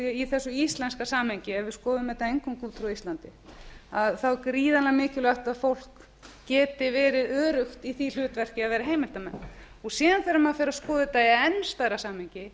í þessu íslenska samhengi ef við skoðun þetta eingöngu frá íslandi þá er gríðarlega mikilvægt að fólk geti verið öruggt í því hlutverki að vera heimildarmenn og síðan þegar maður fer að skoða þetta í enn stærra samhengi